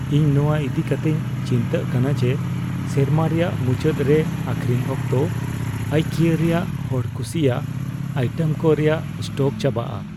ᱤᱧ ᱱᱚᱣᱟ ᱤᱫᱤ ᱠᱟᱛᱮᱧ ᱪᱤᱱᱛᱟᱹᱜ ᱠᱟᱱᱟ ᱡᱮ ᱥᱮᱨᱢᱟ ᱨᱮᱭᱟᱜ ᱢᱩᱪᱟᱹᱫ ᱨᱮ ᱟᱠᱷᱨᱤᱧ ᱚᱠᱛᱚ ᱟᱭᱠᱤᱭᱟ ᱨᱮᱭᱟᱜ ᱦᱚᱲᱠᱩᱥᱤᱭᱟᱜ ᱟᱭᱴᱮᱢ ᱠᱚ ᱨᱮᱭᱟᱜ ᱥᱴᱚᱠ ᱪᱟᱵᱟᱜᱼᱟ ᱾